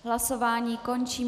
Hlasování končím.